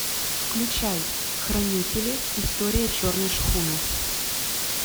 включай хранители история черной шхуны